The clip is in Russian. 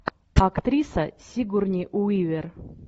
актриса сигурни уивер